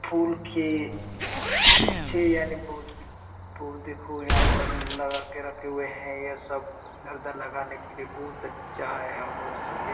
फूल के गुछे यानि बहुत कुछ पौधे देखो यहाँ पर लगा के रखे हुए हैं यहाँ सब इधर उधर लगाने के लिए बहुत अच्छा हैं यहां पर--